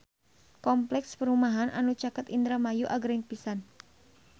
Kompleks perumahan anu caket Indramayu agreng pisan